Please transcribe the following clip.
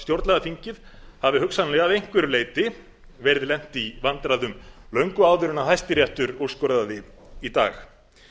stjórnlagaþingið hafi hugsanlega að einhverju leyti verið lent í vandræðum löngu áður en hæstiréttur úrskurðaði í dag